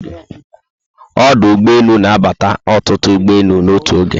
Ọdụ ụgbọelu na abata ọtụtụ ụgbọelu n'otu oge